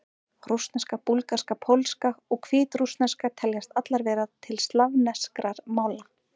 Rússneska, búlgarska, pólska og hvítrússneska teljast allar til slavneskra mála.